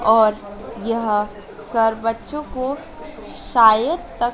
और यहां सर बच्चों को शायद तक--